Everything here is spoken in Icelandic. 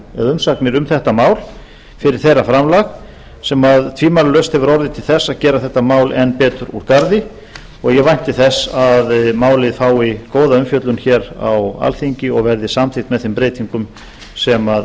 umsagnir um þetta mál fyrir þeirra framlag sem tvímælalaust hefur orðið til þess að gera þetta mál enn betur úr garði ég vænti þess að málið fái góða umfjöllun hér á alþingi og verði samþykkt með þeim breytingum sem